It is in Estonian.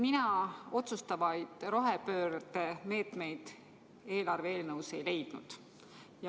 Mina otsustavaid rohepöördemeetmeid sellest eelarve eelnõust ei leidnud.